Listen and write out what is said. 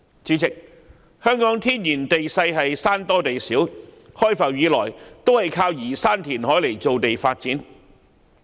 主席，香港的天然地勢是山多地少，開埠以來靠移山填海造地發展。